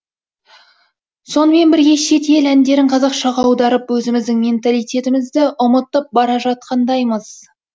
сонымен бірге шет ел әндерін қазақшаға аударып өзіміздің менталитетімізді ұмытып бара жатқандаймыз